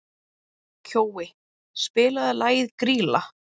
Kjói, spilaðu lagið „Grýla“.